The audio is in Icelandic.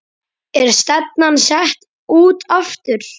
Er stefnan sett út aftur?